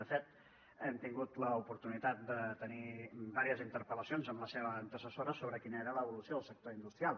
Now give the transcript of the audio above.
de fet hem tingut l’oportunitat de tenir diverses interpel·lacions amb la seva antecessora sobre quina era l’evolució del sector industrial